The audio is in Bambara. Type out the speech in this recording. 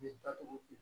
Ne da togo di